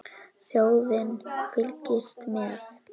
Þjóðin fylgist með.